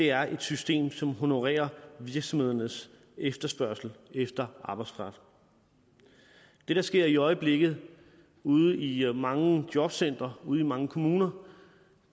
er et system som honorerer virksomhedernes efterspørgsel efter arbejdskraft det der sker i øjeblikket ude i mange jobcentre ude i mange kommuner